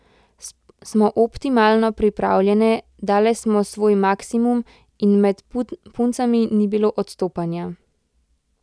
Smo optimalno pripravljene, dale smo svoj maksimum in med puncami ni bilo odstopanja.